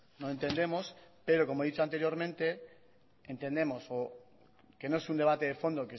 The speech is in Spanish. no entendemos pero como he dicho anteriormente entendemos o que no es un debate de fondo